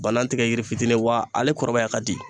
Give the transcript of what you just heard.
Bana tɛ yiri fitinin wa ale kɔrɔbaya ka di.